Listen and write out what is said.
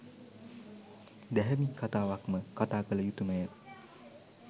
දැහැමි කථාවක්ම කථා කළයුතුමය.